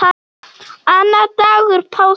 Annar dagur páska.